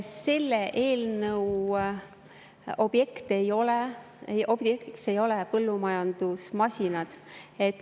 Selle eelnõu objektiks ei ole põllumajandusmasinad.